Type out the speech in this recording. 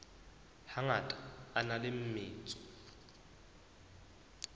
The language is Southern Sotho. hangata a na le metso